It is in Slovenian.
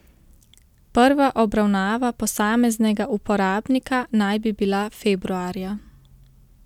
Prva obravnava posameznega uporabnika naj bi bila februarja.